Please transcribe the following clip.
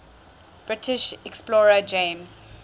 british explorer james